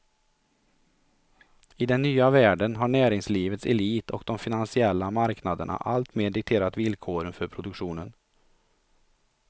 I den nya världen har näringslivets elit och de finansiella marknaderna alltmer dikterat villkoren för produktionen.